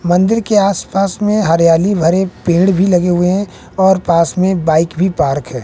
मंदिर के आस पास में हरियाली भरे पेड़ भी लगे हुए हैं और पास में बाइक भी पार्क है।